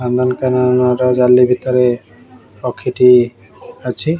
ନନ୍ଦନକାନନର ଜାଲି ଭିତରେ ପକ୍ଷୀ ଟିଏ ଅଛି।